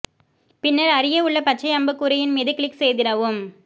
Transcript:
பின்னர் அருகே உள்ள பச்சை அம்புக் குறியின் மீது கிளிக் செய்திடவும்